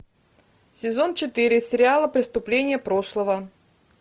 сезон четыре сериала преступление прошлого